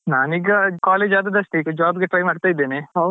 ನಾನ್ ಈಗ college ಆದದಷ್ಟೇ ಈಗ job ಗೆ try ಮಾಡ್ತಾ ಇದ್ದೇನೆ.